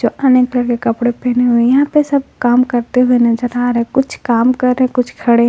अनेक कलर के कपड़े पहने हुए हैं यहां पे सब काम करते हुए नजर आ रहे हैं कुछ काम कर रहे हैं कुछ खड़े हैं।